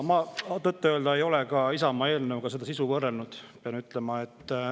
Ma tõtt-öelda ei ole Isamaa eelnõuga seda sisu võrrelnud, pean ütlema.